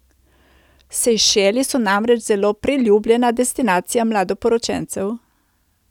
Sejšeli so namreč zelo priljubljena destinacija mladoporočencev.